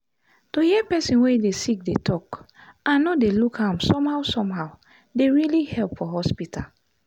to hear person wey dey sick dey talk and no dey look am somehow somehow dey really help for hospital.